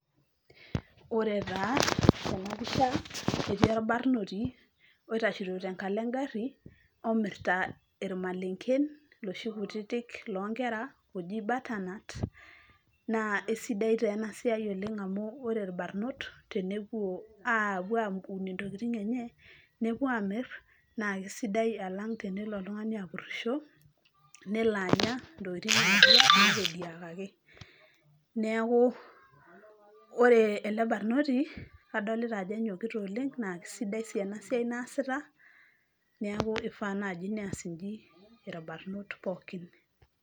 ore taa tenapisha etii orbarnoti oitashito tenkalo engarii omirrta irmalengen loshi kutitik lonkera oji butter nut naa eisidai taa ena siai amu ore irbarnot tenepuo apuo aun intokitin enye nepuo amirr naa kisidai alang tenelo oltung'ani apurrisho nelo ntokiting nae natediakaki neeku ore ele barnoti kadolita ajo enyokita oleng naa kisidai sii ena siai naasita niaku ifaa naaji nias inji irbarnot pookin.